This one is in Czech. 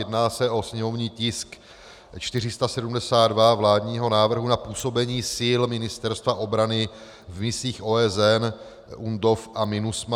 Jedná se o sněmovní tisk 472, vládní návrh na působení sil Ministerstva obrany v misích OSN UNDOF a MINUSMA.